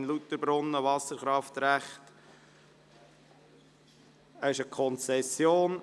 «Gemeinde Lauterbrunnen, Wasserkraftrecht […]».